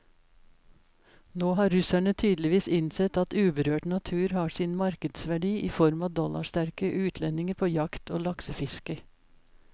Nå har russerne tydeligvis innsett at uberørt natur har sin markedsverdi i form av dollarsterke utlendinger på jakt og laksefiske.